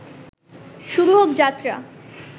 শুরু হোক যাত্রা